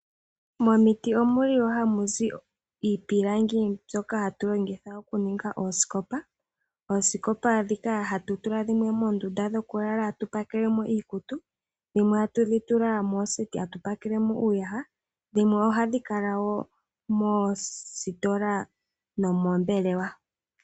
Momiti ohamuzi iipilangi ndjoka hatu longitha okuninga oosikopa. Oosikopa dhimwe ohutudhitula muundunda dhokulala mono hatu pakelemo iikutu, dhimwe ohatu dhi tula mooseti ndhono hatudhi pakele iiyaha, dho dhimwe ohadhi kala moositola nomoombelewa.